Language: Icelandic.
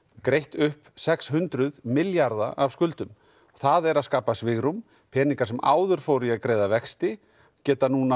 greitt upp sex hundruð milljarða af skuldum það er að skapa svigrúm peningar sem áður fóru í að greiða vexti geta núna